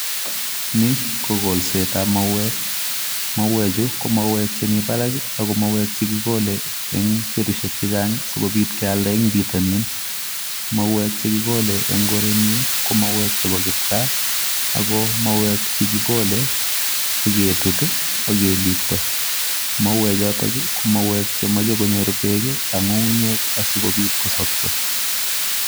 Ni kolset ab mauweek, mauweek chu ko mauweek che Mii barak ako mauweek chemii Barak en betusiek che chaang sikobiit keyaldaa en bitonin korenyuun ko mauweek che bo kipkaa chekikole ak ketit ak keliptaa.